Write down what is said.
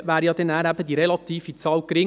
Da wäre die relative Zahl dann gering.